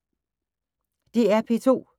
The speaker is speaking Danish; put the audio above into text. DR P2